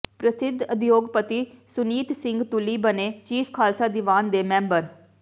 ਪ੍ਰਸਿੱਧ ਉਦਯੋਗਪਤੀ ਸੁਨੀਤ ਸਿੰਘ ਤੁੱਲੀ ਬਣੇ ਚੀਫ ਖਾਲਸਾ ਦੀਵਾਨ ਦੇ ਮੈਂਬਰ